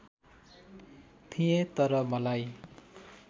थिएँ तर मलाई